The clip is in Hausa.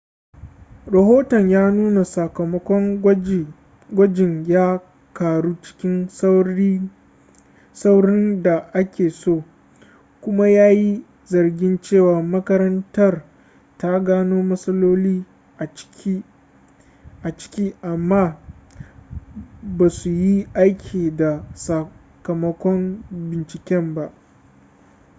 rahoton ya nuna sakamakon gwajin ya karu cikin saurin da ake so kuma ya yi zargin cewa makarantar ta gano matsaloli a ciki amma ba su yi aiki da sakamakon binciken ba